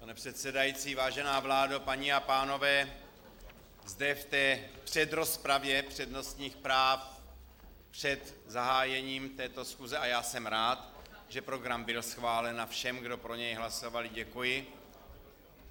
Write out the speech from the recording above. Pane předsedající, vážená vládo, paní a pánové, zde v té předrozpravě přednostních práv před zahájením této schůze - a já jsem rád, že program byl schválen, a všem, kdo pro něj hlasovali, děkuji.